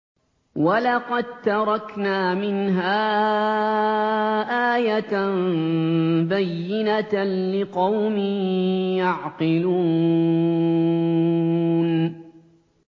وَلَقَد تَّرَكْنَا مِنْهَا آيَةً بَيِّنَةً لِّقَوْمٍ يَعْقِلُونَ